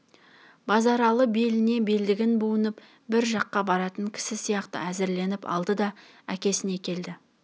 базаралы беліне белдігін буынып бір жаққа баратын кісі сияқты әзірленіп алды да әкесіне келді